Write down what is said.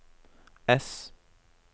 S